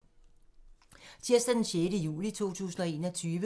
Tirsdag d. 6. juli 2021